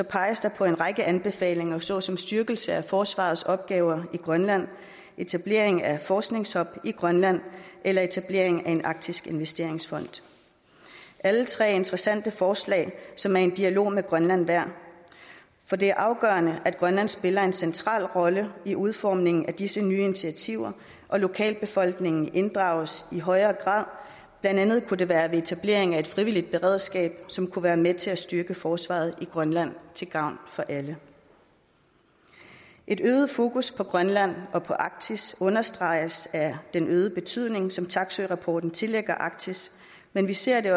peges der på en række anbefalinger såsom styrkelse af forsvarets opgaver i grønland etablering af en forskningshub i grønland eller etablering af en arktisk investeringsfond alle tre er interessante forslag som er en dialog med grønland værd for det er afgørende at grønland spiller en central rolle i udformningen af disse nye initiativer og at lokalbefolkningen inddrages i højere grad blandt andet kunne det være ved etablering af et frivilligt beredskab som kunne være med til at styrke forsvaret i grønland til gavn for alle et øget fokus på grønland og på arktis understreges af den øgede betydning som taksøe jensen rapporten tillægger arktis men vi ser det